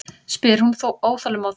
spyr hún óþolinmóð.